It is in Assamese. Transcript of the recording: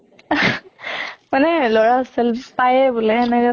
মানে লʼৰা hostel পায়ে বুলে সেনেকে কোৱাৰ